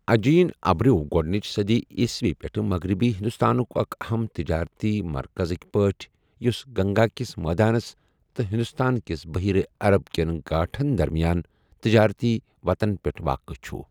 اجین ابرٮ۪و گۄڈٕنچ صدی عیسوی پٮ۪ٹھ مغربی ہندوستانُک اکھ اَہَم تجارتی مرکزٕک پٲٹھۍ یوٚس گنگا کِس میدانس تہٕ ہندوستان کِس بحیرہ عرب کٮ۪ن گاٹھن درمیان تجٲرتی وتن پٮ۪ٹھ واقعہ چھُ۔